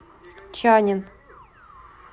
чаннин